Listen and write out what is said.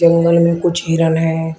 जंगल में कुछ हिरण है।